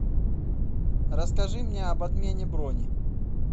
расскажи мне об отмене брони